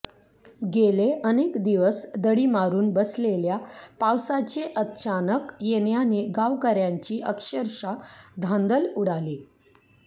गेले अनेक दिवस दडी मारून बसलेल्या पावसाचे अचानक येण्याने गावकऱ्यांची अक्षरशः धांदल उडाली